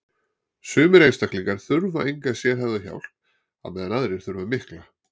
Sumir einstaklingar þurfa enga sérhæfða hjálp á meðan aðrir þurfa mikla.